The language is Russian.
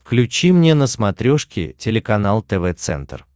включи мне на смотрешке телеканал тв центр